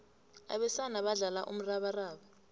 abesana badlala umrabaraba